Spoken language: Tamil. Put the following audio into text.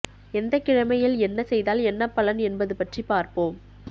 எந்தக் கிழமையில் என்ன செய்தால் என்ன பலன் என்பது பற்றி பார்ப்போம்